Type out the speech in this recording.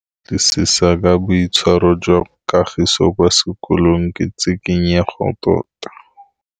Go batlisisa ka boitshwaro jwa Kagiso kwa sekolong ke tshikinyêgô tota.